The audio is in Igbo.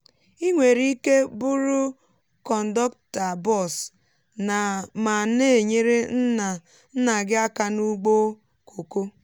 ị nwere ike bụrụ kondọkta bọs ma na-enyere nna nna gị aka na ugbo kòkó